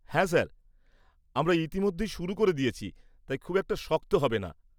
হ্যাঁ স্যার, আমরা ইতিমধ্যেই শুরু করে দিয়েছি তাই খুব একটা শক্ত হবে না।